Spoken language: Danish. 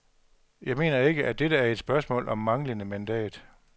Jeg mener ikke, at dette er et spørgsmål om manglende mandat.